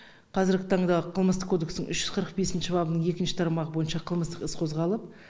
қазіргі таңда қылмыстық кодекстің үш жүз қырық бесінші бабының екінші тармағы бойынша қылмыстық іс қозғалып